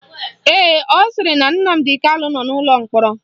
Ee, ọ sịrị na Nnamdi Kanu nọ n'ụlọ mkpọrọ